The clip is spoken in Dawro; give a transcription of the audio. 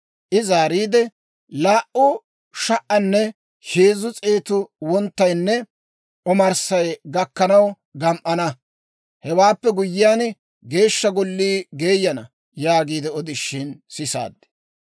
I zaariide, «Laa"u sha"aane heezzu s'eetu wonttaynne omarssay gakkanaw gam"ana; hewaappe guyyiyaan, Geeshsha Gollii geeyana» yaagiide odishin sisaad.